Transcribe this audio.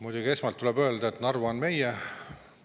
Muidugi, esmalt tuleb öelda, et Narva on meie.